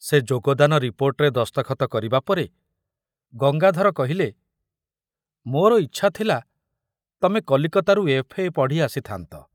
ସେ ଯୋଗଦାନ ରିପୋର୍ଟରେ ଦସ୍ତଖତ କରିବା ପରେ ଗଙ୍ଗାଧର କହିଲେ, ମୋର ଇଚ୍ଛା ଥିଲା ତମେ କଲିକତାରୁ ଏଫ୍.ଏ. ପଢ଼ି ଆସିଥାନ୍ତ